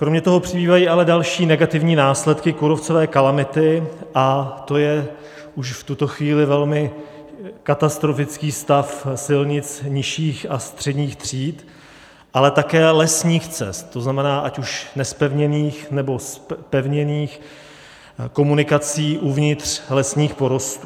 Kromě toho přibývají ale další negativní následky kůrovcové kalamity, a to je už v tuto chvíli velmi katastrofický stav silnic nižších a středních tříd, ale také lesních cest, to znamená ať už nezpevněných, nebo zpevněných komunikací uvnitř lesních porostů.